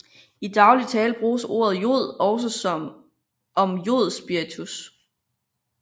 I daglig tale bruges ordet jod også om jodspiritus